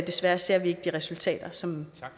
desværre ser vi ikke de resultater som